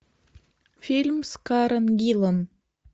фильм с карен гиллан